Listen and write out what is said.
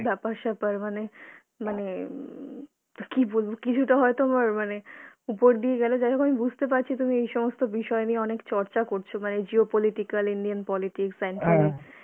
ব্যাপার-স্যাপার মানে মানে উম কী বলবো? কিছুটা হয়তো আমার মানে উপর দিয়ে গেলো, যাই হোক আমি বুঝতে পারছি তুমি এইসমস্ত বিষয় নিয়ে অনেক চর্চা করছো বা এই geo political Indian politics